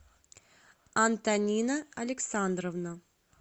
антонина александровна